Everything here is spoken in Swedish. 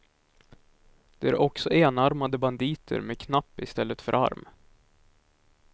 De är också enarmade banditer med knapp i stället för arm.